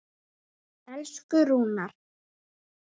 Elsku Rúnar.